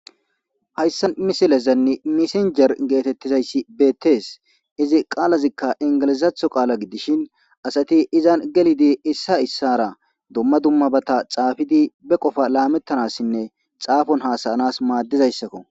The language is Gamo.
hayssa misilezanni misinjer geetettizayssi beettees izi qaalazikka ingilizaatho qaala gidishin asati izan gelidi issa issara dumma dummabata xaafidi be qofa laamettanassinne xaafon hasayanas maaddizayssakko